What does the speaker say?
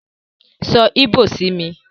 So ìbò sí mi!